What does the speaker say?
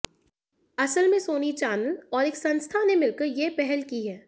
असल में Sony channel और एक संस्था ने मिलकर यह पहल की है